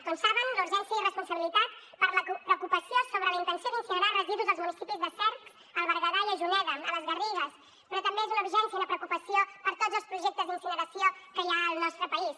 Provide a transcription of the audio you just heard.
com saben la urgència i responsabilitat per la preocupació sobre la intenció d’incinerar residus als municipis de cercs al berguedà i a juneda a les garrigues però també és una urgència i una preocupació per a tots els projectes d’incineració que hi ha al nostre país